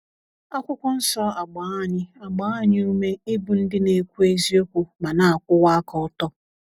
akwụkwọ nsọ- agba anyị agba anyị ume ịbụ ndị na - ekwu eziokwu ma na - akwụwa aka ọtọ.